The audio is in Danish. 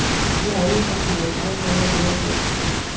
Vi har allesammen vores egen måde at være på.